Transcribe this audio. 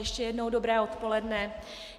Ještě jednou dobré odpoledne.